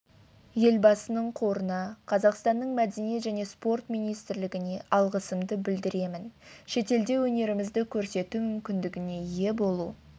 елбасының қорына қазақстанның мәдениет және спорт министрлігіне алғысымды білдіремін шетелде өнерімізді көрсету мүмкіндігіне ие болу